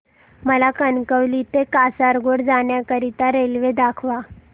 मला कणकवली ते कासारगोड जाण्या करीता रेल्वे दाखवा